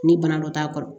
Ni bana dɔ t'a kɔrɔ